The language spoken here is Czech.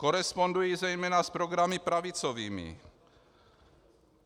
Korespondují zejména s programy pravicovými.